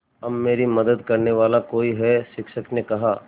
अब मेरी मदद करने वाला कोई है शिक्षक ने कहा